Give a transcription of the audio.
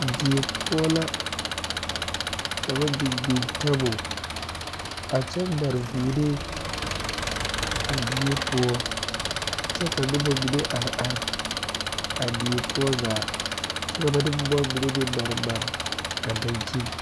Die poɔ la ka ba biŋ biŋ taabol a kyɛ mare vûûnee a die poɔ kyɛ ka noba mine are are a die poɔ zaa kyɛ ka ba de boma mine meŋ a mare mare a dankyini